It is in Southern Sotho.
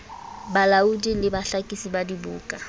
balaodi le bahlakisi ba dibuka